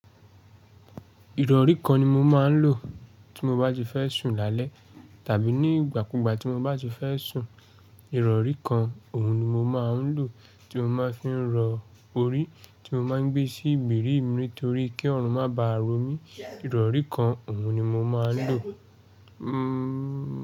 Ìrọ̀rí kan ni mo máa ń lò tí mo bá ti fẹ́ sùn lálẹ́ tàbí nígbàkúgbà tí mo bá ti fẹ́ sùn. Ìrọ̀rí kan, òun ni mo máa ń lò tí mo máa ń fi ń rọ orí tí mo máa ń gbé sí ìgbèrí mi nítorí kí ọrùn má bá ro mí. Ìrọ̀rí kan, òun ni mo máa ń lò. Hmm.